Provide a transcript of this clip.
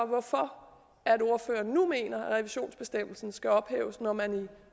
hvorfor ordføreren mener at revisionsbestemmelsen skal ophæves når man i